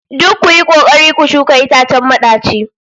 Duk kuyi kokari ku shuka itacen madaci